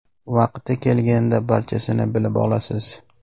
Vaqti kelganida barchasini bilib olasiz.